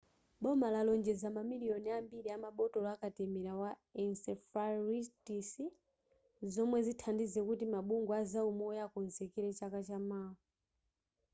boma lalonjeza mamiliyoni ambiri amabotolo akatemera wa encephalitis zomwe zithandize kuti mabungwe azaumoyo akonzekere chaka chamawa